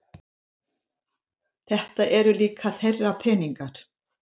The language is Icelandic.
Þetta eru líka þeirra peningar